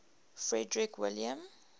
frederick william